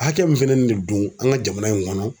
Hakɛ min feninen de don an ka jamana in kɔnɔ